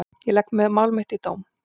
Ég legg mál mitt í dóm.